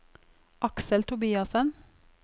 Aksel Tobiassen